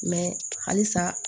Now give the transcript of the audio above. halisa